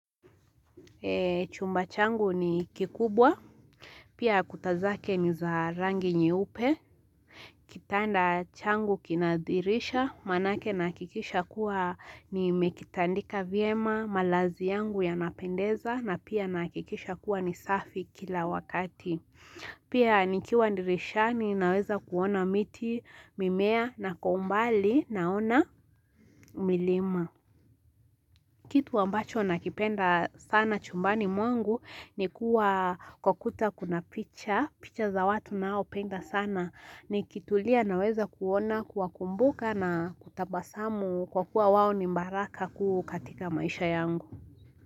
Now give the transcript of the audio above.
Chumba changu ni kikubwa, pia kuta zake ni za rangi nyeupe, kitanda changu kina dhirisha, maanake nahakikisha kuwa nimekitandika viema, malazi yangu yanapendeza na pia nahakikisha kuwa ni safi kila wakati. Pia nikiwa ndirishani naweza kuona miti, mimea, na kwa umbali naona milima. Kitu ambacho nakipenda sana chumbani mwangu ni kuwa kwa kuta kuna picha, picha za watu naopenda sana. Nikitulia naweza kuona kuwakumbuka na kutabasamu kwa kuwa wao ni mbaraka kuu katika maisha yangu.